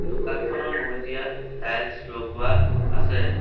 দোকানখনৰ মজিয়াত টাইলছ লগোৱা আছে।